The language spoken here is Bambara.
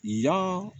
Yan